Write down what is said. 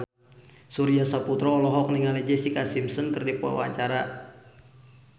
Surya Saputra olohok ningali Jessica Simpson keur diwawancara